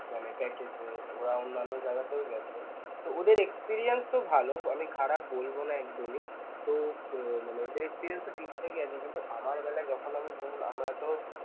মানে বা অন্যান্য যাইগাতেও গেছে তো ওদের experience ও ভাল আমি খারাপ বলব না একদমই তো উম মানে ওদের experience ও ঠিকঠাকই আছে কিন্তু আমার বেলায় যখন আমি ধরুন আমরাতো